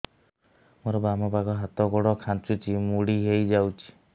ମୋର ବାମ ପାଖ ହାତ ଗୋଡ ଖାଁଚୁଛି ମୁଡି ହେଇ ଯାଉଛି